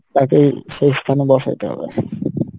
তাকেই সে স্থানে বসাতে হবে